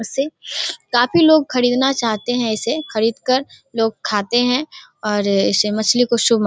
उसे काफ़ी लोग खरीदना चाहते हैं इसे खरीद कर लोग खाते हैं और इसे मछली को शुभ --